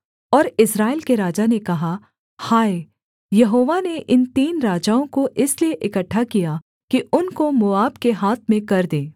और इस्राएल के राजा ने कहा हाय यहोवा ने इन तीन राजाओं को इसलिए इकट्ठा किया कि उनको मोआब के हाथ में कर दे